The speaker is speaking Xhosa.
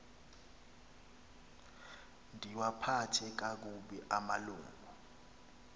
ndiwaphathe kakubi amalungu